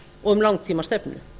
og um langtímastefnu